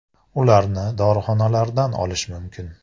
Ularni dorixonalardan olish mumkin.